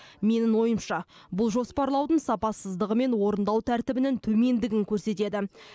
менің ойымша бұл жоспарлаудың сапасыздығы мен орындау тәртібінің төмендігін көрсетеді